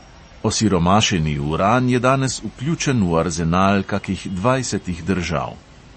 Osiromašeni uran je danes vključen v arzenal kakih dvajsetih držav.